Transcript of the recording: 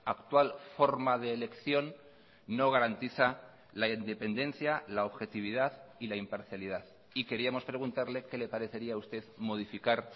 actual forma de elección no garantiza la independencia la objetividad y la imparcialidad y queríamos preguntarle qué le parecería a usted modificar